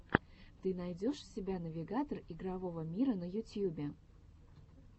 ты найдешь у себя навигатор игрового мира на ютьюбе